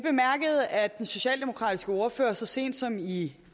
den socialdemokratiske ordfører så sent som i